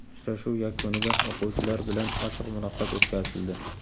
Uchrashuv yakunida o‘quvchilar bilan ochiq muloqot o‘tkazildi.